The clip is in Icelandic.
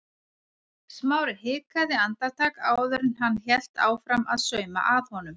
Smári hikaði andartak áður en hann hélt áfram að sauma að honum.